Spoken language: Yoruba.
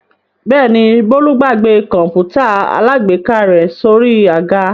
Bẹ́ẹ̀ ni, Bólú gbàgbé kọ̀ǹpútà alágbèéká rẹ̀ sórí àga.